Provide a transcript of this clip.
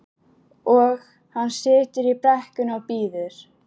Og hann situr í brekkunni og bíður.